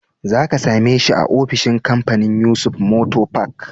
Za ka same shi a ofishin kamfanin Yusuf motor park.